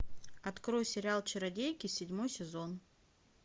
открой сериал чародейки седьмой сезон